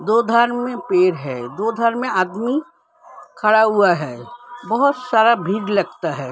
दो धर में पेड़ हैं दो धर में आदमी खड़ा हुआ हैं बोहोत सारा भीर लगता है ।